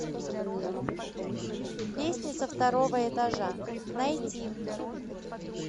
песня со второго этажа найти